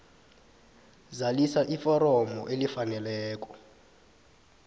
zalisa iforomo elifaneleko